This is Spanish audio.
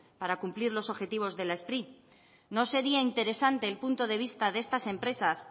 para cumplir los objetivos de la spri no sería interesante el punto de vista de estas empresas